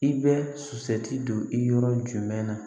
I bɛ sɔti don i yɔrɔ jumɛn na